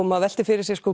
maður veltir fyrir sér